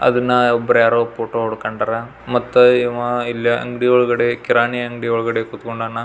ಅದನ್ನ ಒಬ್ರ್ ಯಾರೋ ಫೋಟೋ ಹೊಡ್ಕಂಡನ ಮತ್ ಇವ ಇಲ್ಲಿ ಅಂಡ್ಗಿ ಒಲ್ಗಡೆ ಕಿರಾಣಿ ಅಂಗ್ಡಿ ಒಳಗಡೆ ಕುತ್ಕೊಂಡನ.